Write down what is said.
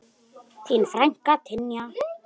Þín frænka Tanja.